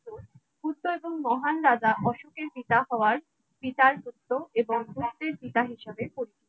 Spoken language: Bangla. পুত্র এবং মহান রাজা অশোকের পিতা হওয়ার পিতার পুত্র এবং পুত্রের পিতা হিসেবে পরিচিত।